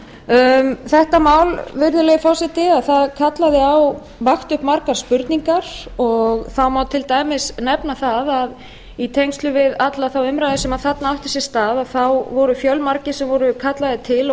vímugjafa þetta mál virðulegi forseti vakti upp margar spurningar og það má til dæmis nefna það að í tengslum við alla þá umræðu sem þarna átti sér stað að þá voru fjölmargir sem voru kallaðir til og